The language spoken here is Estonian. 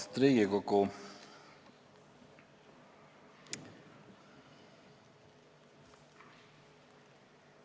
Austatud Riigikogu!